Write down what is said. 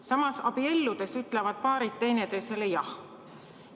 Samas, abielludes ütlevad paarid teineteisele jah.